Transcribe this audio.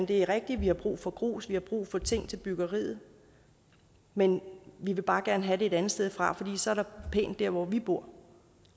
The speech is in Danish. det er rigtigt at vi har brug for grus vi har brug for ting til byggeriet men vi vil bare gerne have det et andet sted fra for så er der pænt der hvor vi bor